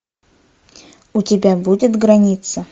у тебя будет граница